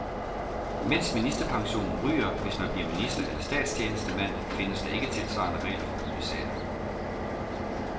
Mens ministerpensionen ryger, hvis man bliver minister eller statstjenestemand, findes der ikke tilsvarende regler for kommissærer.